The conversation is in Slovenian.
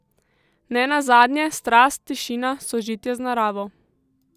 Ne nazadnje, strast, tišina, sožitje z naravo.